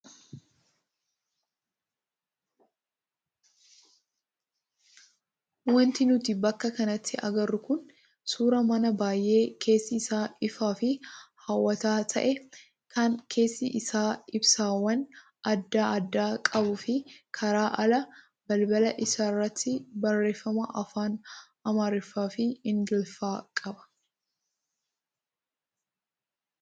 Wanti nuti bakka kanatti agarru kun suuraa mana baay'ee keessi isaa ifaa fi hawwataa ta'ee kan keessi isaa ibsaawwan adda addaa qabuu fi karaa alaa balbala isaa irratti barreeffama afaan amaariffaa fi ingiliffaa qaba.